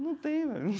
Não tem.